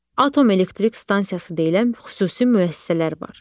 Atom elektrik stansiyası deyilən xüsusi müəssisələr var.